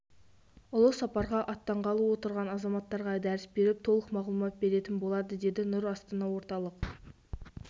ұлы сапарға аттанғалы отырған азаматтарға дәріс беріп толық мағлұмат беретін болады деді нұр астана орталық